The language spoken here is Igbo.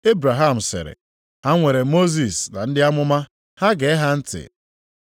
“Ebraham sịrị, ‘Ha nwere Mosis na ndị amụma, ha gee ha ntị.’